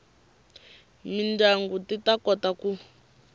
mindyangu ti ta kota ku